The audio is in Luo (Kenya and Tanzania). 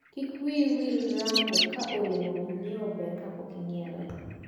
Kik wiyi wil rango ka olemo mainyiewo ber kapok inyiewe.